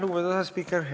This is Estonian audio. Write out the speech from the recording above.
Lugupeetud asespiiker!